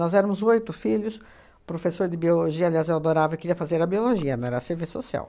éramos oito filhos, professor de biologia, aliás, eu adorava, queria fazer a biologia, não era serviço social.